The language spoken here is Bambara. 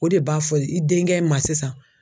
O de b'a fɔ i denkɛ ma sisan